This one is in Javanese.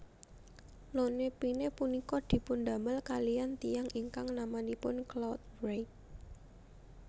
Lone Pine punika dipundamel kaliyan tiyang ingkang namanipun Claude Reid